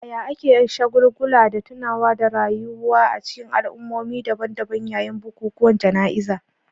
Yaya ake shagulgula da tunawa da rayuwa a cikin al'ummomi daban-daban yayin bukukuwan jana'izar?